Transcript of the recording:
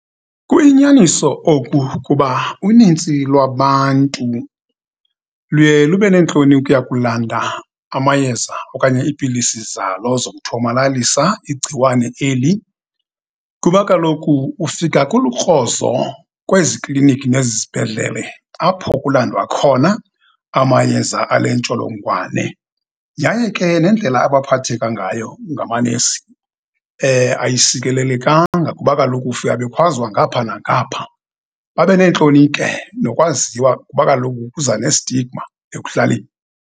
Kuyinyaniso oku kuba, unintsi lwabantu luye lube nentloni ukuya kulanda amayeza okanye ipilisi zalo zokuthomalalisa igciwane eli, kuba kaloku ufika kulukrozo kwezi kliniki nezi zibhedlele apho kulandwa khona amayeza ale ntsholongwane. Yaye ke nendlela abaphatheka ngayo ngamanesi ayisikelelekanga, kuba kaloku ufike bekhwazwa ngapha nangapha. Babe neentloni ke nokwaziwa kuba kaloku kuza nestigma ekuhlaleni.